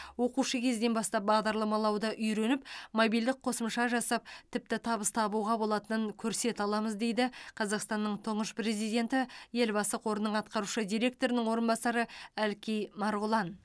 оқушы кезден бастап бағдарламалауды үйреніп мобильдік қосымша жасап тіпті табыс табуға болатынын көрсете аламыз дейді қазақстанның тұңғыш президенті елбасы қорының атқарушы директорының орынбасары әлкей марғұлан